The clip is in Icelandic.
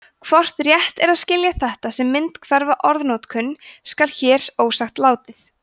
hvort rétt er að skilja þetta sem myndhverfa orðnotkun skal hér ósagt látið